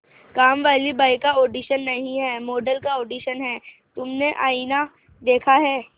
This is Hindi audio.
कामवाली बाई का ऑडिशन नहीं है मॉडल का ऑडिशन है तुमने आईना देखा है